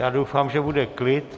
Já doufám, že bude klid.